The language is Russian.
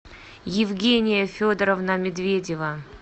евгения федоровна медведева